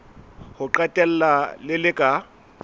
ho qetela le le ka